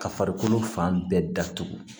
Ka farikolo fan bɛɛ datugu